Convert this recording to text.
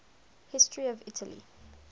history of italy